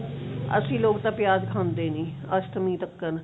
ਅਸੀਂ ਲੋਕ ਤਾਂ ਪਿਆਜ ਖਾਂਦੇ ਨੀ ਅਸ਼ਟਮੀ ਤੱਕਰ